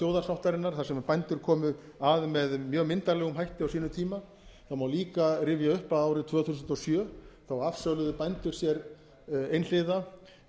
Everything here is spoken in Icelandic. þjóðarsáttarinnar þar sem bændur komu að með mjög myndarlegum hætti á sínum tíma það má líka rifja upp að árið tvö þúsund og sjö afsöluðu bændur sér einhliða